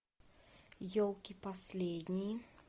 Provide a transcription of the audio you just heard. елки последние